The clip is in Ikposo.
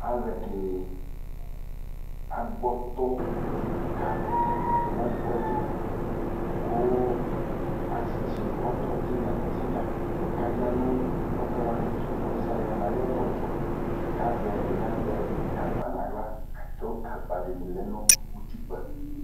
iAluɛdini agbɔɔtɔ kiika nɛfuɛdi kuu atsitsi ɔtɔ tinya tinya kaya nu ɔtɔwaniɛtu ɔlusialu yaa nayɔtɔetu kazɛ ɛdiniazɛ gagba naɣla atu agba dini lɛ nutikpa